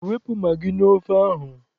Wepụ magị n'ofe ahụ!